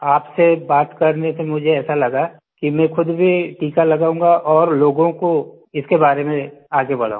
आपसे बात करने से मुझे ऐसा लगा कि मैं ख़ुद भी टीका लगाऊंगा और लोगों को इसके बारे में आगे बढ़ाऊँ